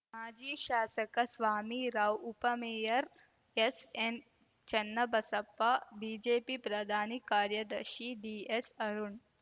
ಮಾಜಿ ಶಾಸಕ ಸ್ವಾಮಿ ರಾವ್‌ ಉಪಮೇಯರ್‌ ಎಸ್‌ ಎನ್‌ ಚನ್ನಬಸಪ್ಪ ಬಿಜೆಪಿ ಪ್ರಧಾನ ಕಾರ್ಯದರ್ಶಿ ಡಿಎಸ್‌ ಅರುಣ್‌